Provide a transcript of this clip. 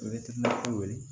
wele